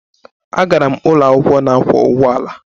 Agara m ụlọ akwụkwọ na-akwọ ụgbọala.